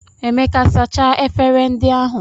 Emeka sachaa efere ndị ahụ